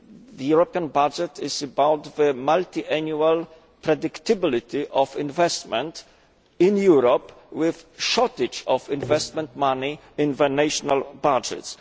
The European budget is about the multiannual predictability of investment in Europe with a shortage of investment money in the national budgets.